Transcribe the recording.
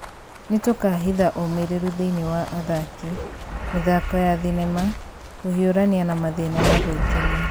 Nĩtũkahitha ũmĩrĩru thĩinĩ wa athaki, mĩthanko ya thinema Kũhiũrania na mathĩna na gwĩkenia,